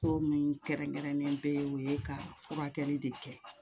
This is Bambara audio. Ko min kɛrɛnkɛrɛnnen bɛ o ye ka furakɛli de kɛ